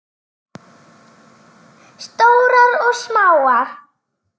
Stórar og smáar.